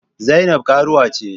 Zainab karuwa ce.